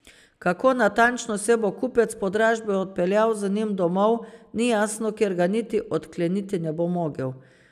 Kako natančno se bo kupec po dražbi odpeljal z njim domov, ni jasno, ker ga niti odkleniti ne bo mogel.